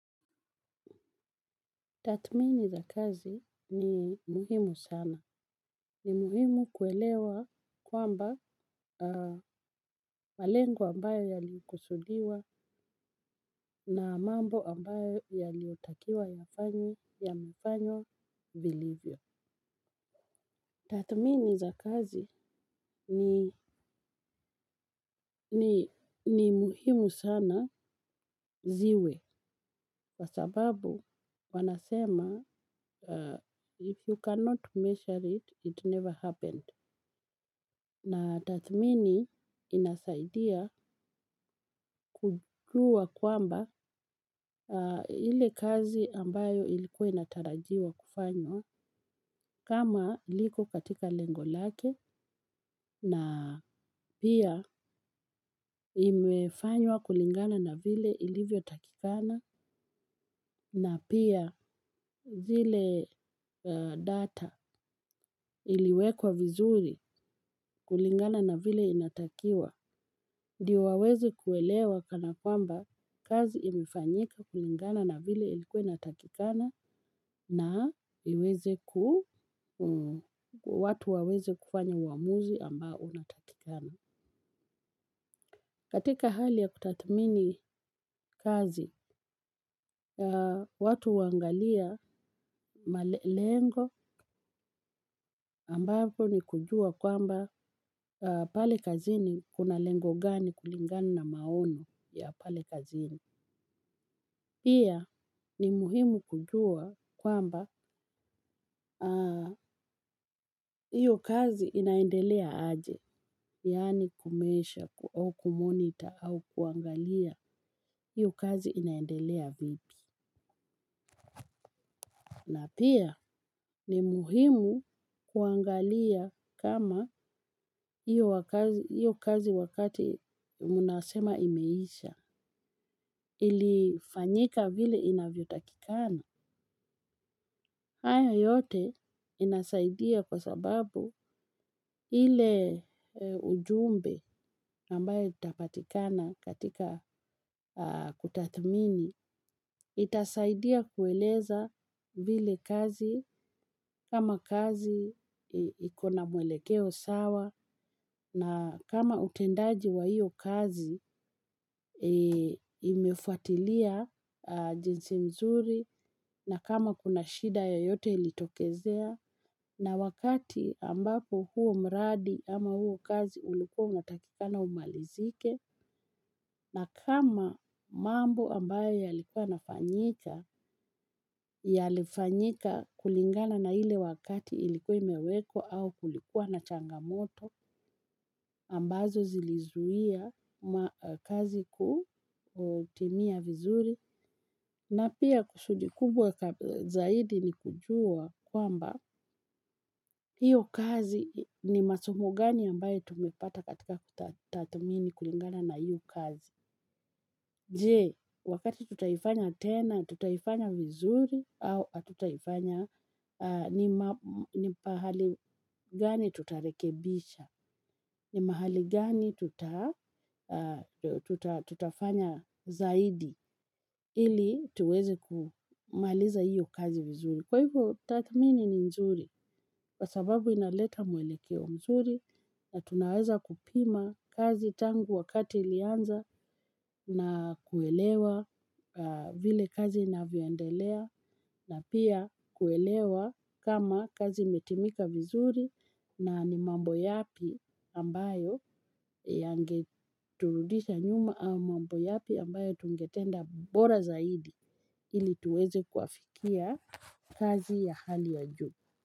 Tathmini za kazi ni muhimu sana. Ni muhimu kuelewa kwamba malengo ambayo yalikusudiwa na mambo ambayo yaliotakiwa yafanywe yamefanywa vilivyo. Tatmini za kazi ni muhimu sana ziwe. Kwa sababu wanasema, if you cannot measure it, it never happened na tathmini inasaidia kujua kwamba ile kazi ambayo ilikuwa inatarajiwa kufanywa kama liko katika lengo lake na pia imefanywa kulingana na vile ilivyotakikana na pia zile data iliwekwa vizuri kulingana na vile inatakiwa. Ndio waweze kuelewa kana kwamba kazi imefanyika kulingana na vile ilikuwe inatakikana na watu waweze kufanya uamuzi ambao unatakikana. Katika hali ya kutathmini kazi, watu huangalia lengo ambapo ni kujua kwamba pale kazini kuna lengo gani kulingana na maoni ya pale kazini. Pian ni muhimu kujua kwamba hiyo kazi inaendelea aje, yaani kumeesha au kumonita au kuangalia hiyo kazi inaendelea vipi. Na pia ni muhimu kuangalia kama hiyo kazi wakati unasema imeisha ilifanyika vile inavyotakikana hayo yote inasaidia kwa sababu ile ujumbe ambayo itapatika katika kutathmini itasaidia kueleza vile kazi kama kazi iko na mwelekeo sawa na kama utendaji wa hiyo kazi imefuatlia jinsi vizuri na kama kuna shida yeyote ilitokezea na wakati ambapo huo mradi ama huo kazi ulikuwa unatakika na umalizike na kama mambo ambayo yalikuwa yanafanyika yalifanyika kulingana na ile wakati ilikuwa imewekwa au kulikuwa na changamoto ambazo zilizuia kazi kutimia vizuri na pia kusudi kubwa zaidi ni kujua kwamba hiyo kazi ni masumo gani ambayo tumepata katika kutathmini kulingana na hiyo kazi. Je, wakati tutaifanya tena, tutaifanya vizuri au hatutaifanya ni mahali gani tutarekebisha, ni mahali gani tutafanya zaidi ili tuweze kumaliza iyo kazi vizuri. Kwa hivyo tathmini ni nzuri, kwa sababu inaleta mwelekeo nzuri na tunaweza kupima kazi tangu wakati ilianza na kuelewa vile kazi inavyoendelea na pia kuelewa kama kazi imetimika vizuri na ni mambo yapi ambayo yangeturudisha nyuma au mambo yapi ambayo tungetenda bora zaidi. Ili tuweze kuwafikia kazi ya hali ya juu.